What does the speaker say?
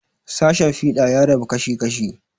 Sashen fiɗa ya rabu kashi kashi.